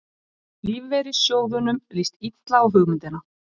Lífeyrissjóðunum líst illa á hugmyndina